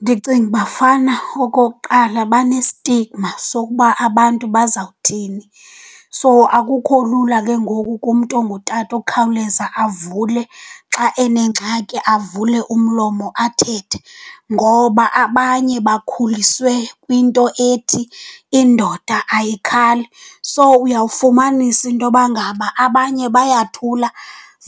Ndicinga uba fana okokuqala bane-stigma sokuba abantu bazawuthini. So, akukho lula ke ngoku kumntu ongutata ukukhawuleza avule xa enengxaki avule umlomo athethe, ngoba abanye bakhuliswe kwinto ethi indoda ayikhali. So, uyawufumanisa intoba ngaba abanye bayathula